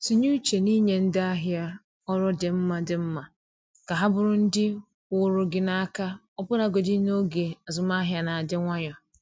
Tinye uche n’inye ndị ahịa ọrụ dị mma dị mma ka ha bụrụ ndị kwụụrụ gị n’aka ọbụlagodi n’oge azụmahịa na-adị nwayọ.